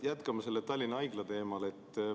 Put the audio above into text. Jätkame Tallinna Haigla teemal.